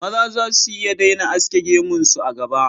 Maza za su iya daina aske gemun su, a gaba